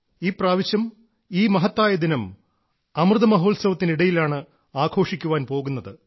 ഈ പ്രാവശ്യം ഈ മഹത്തായ ദിനം അമൃത മഹോത്സവത്തിന് ഇടയിലാണ് ആഘോഷിക്കാൻ പോകുന്നത്